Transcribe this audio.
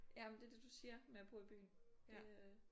Ja men det er det du siger med at bo i byen det øh